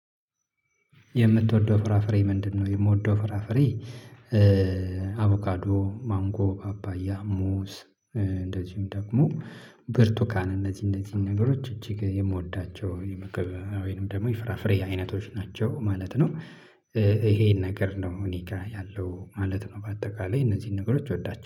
የምትወደው ፍራፍሬ ምንድነው? የምወደው ፍራፍሬ አቮካዶ ማንጎ ፓፓያ ሙዝ እንደዚሁም ደግሞ ብርቱካን እነዚህ እነዚህን ነገሮች እጅግ የምወዳቸው የመግብ ወይንም ደግሞ ይፍራፍሬ አይነቶች ናቸው ማለት ነው። ይሄን ነገር ነው እኔ ጋር ያለው ማለት ነው። በአጠቃላይ እነዚህን ነገሮች እወዳቸው